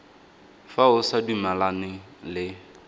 fa o sa dumalane le